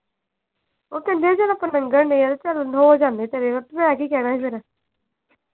ਉਹ ਕਹਿੰਦਿਆਂ ਚਲ ਆਪਾਂ ਲੰਘਣ ਦੇ ਆਂ ਚਲ ਹੋ ਜਾਣੇ ਆ ਤੇਰੇ ਘਰ ਮੈਂ ਕੀ ਕਹਿਣਾ ਹੀ ਫੇਰ।